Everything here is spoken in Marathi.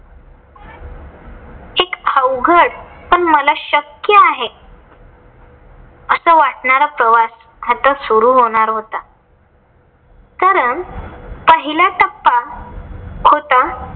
अवघड पण मला शक्क्य आहे. अस वाटणारा प्रवास आता सुरु होणार होता. कारण पहिला टप्पा होता.